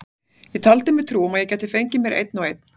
Ég taldi mér trú um að ég gæti fengið mér einn og einn.